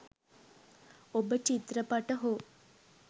ඔබ චිත්‍රපට හෝ